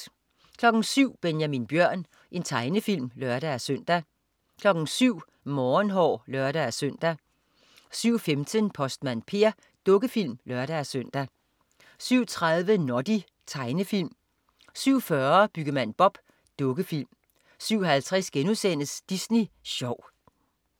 07.00 Benjamin Bjørn. Tegnefilm (lør-søn) 07.00 Morgenhår (lør-søn) 07.15 Postmand Per. Dukkefilm (lør-søn) 07.30 Noddy. Tegnefilm 07.40 Byggemand Bob. Dukkefilm 07.50 Disney Sjov*